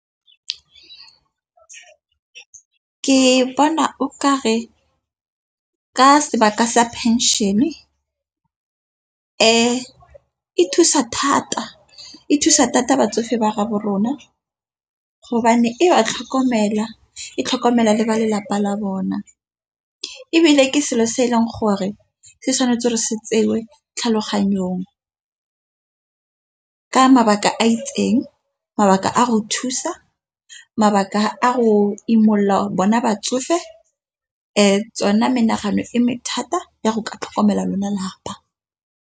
Ke bona o ka re ke sebaka sa phenšene e thusa thata e thusa thata batsofe ba gaabo rona. E ba tlhokomela e tlhokomela le ba lelapa la ga bona ebile ke selo se e leng gore se tshwanetse re se tsewe tlhaloganyong ka mabaka a itseng mabaka a go thusa, mabaka a go imolola bona batsofe. Tsona menagano e mathata ya go ka tlhokomela lona lelapa.